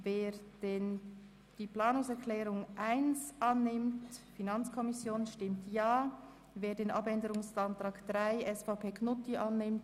Wer die Planungserklärung 1 annimmt, stimmt Ja, wer den Abänderungsantrag 3 annimmt, stimmt Nein.